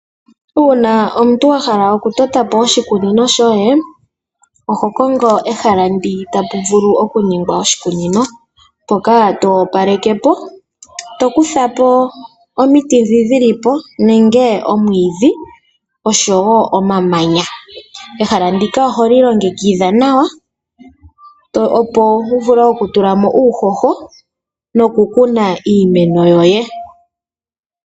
Uuna omuntu wa hala okutota po oshikunino shoye oho kongo ehala mpa tapu vulu okuningwa oshikunino mpoka to opaleke po, to kutha po omiti ndhoka dhi li po nenge omwiidhi oshowo omamanya. Ehala ndika oholi longekidha nawa, opo wu vule okutula mo uuhoho nokukuna iimeno yoye.